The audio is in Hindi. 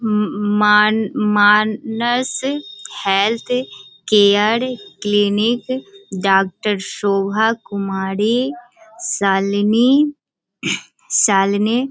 उम्म मान Manas health care clinic doctor Shobha Kumari Shalini Shalini.